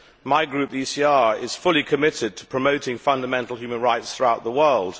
My group, the ECR, is fully committed to promoting fundamental human rights throughout the world.